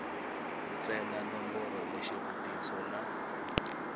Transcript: ntsena nomboro ya xivutiso na